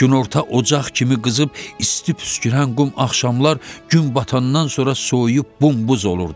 Günorta ocaq kimi qızıb isti püskürən qum axşamlar gün batandan sonra soyuyub bombuz olurdu.